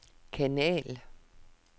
kanal